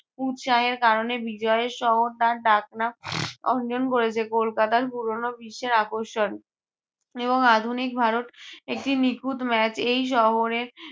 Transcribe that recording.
উৎসাহের কারণে বিজয়ের শহর তার ডাক নাম অঞ্জন বলেছে কলকাতা পুরোনো বিশ্বের আকর্ষণ। এবং আধুনিক ভারত একটি নিখুঁত match এই শহরে